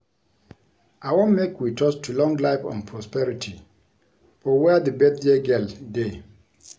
I wan make we toast to long life and prosperity for where the birthday girl dey